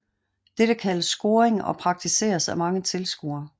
Dette kaldes scoring og praktiseres af mange tilskuere